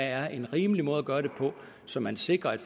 er en rimelig måde at gøre det på så man sikrer at